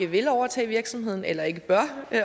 vil overtage virksomheden eller ikke bør